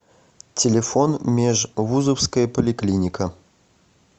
телефон межвузовская поликлиника